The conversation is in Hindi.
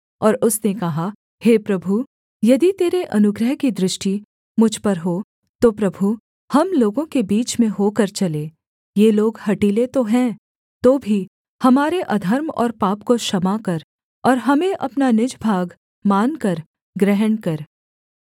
और उसने कहा हे प्रभु यदि तेरे अनुग्रह की दृष्टि मुझ पर हो तो प्रभु हम लोगों के बीच में होकर चले ये लोग हठीले तो हैं तो भी हमारे अधर्म और पाप को क्षमा कर और हमें अपना निज भाग मानकर ग्रहण कर